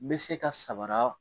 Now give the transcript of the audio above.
Bɛ se ka sabara